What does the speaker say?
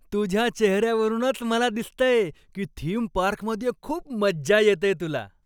तुझ्या चेहऱ्यावरूनच मला दिसतंय की थीम पार्कमध्ये खूप मज्जा येतेय तुला.